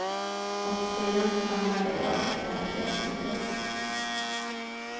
Och sedan stannade jag för att jag trivdes.